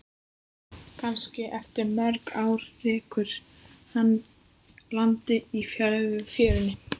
Kannski eftir mörg ár rekur hana að landi í fjörunni.